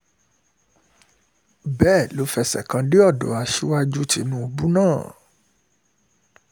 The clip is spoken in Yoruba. bẹ́ẹ̀ um ló fẹsẹ̀ kan dé ọ̀dọ̀ um aṣíwájú tìǹbù náà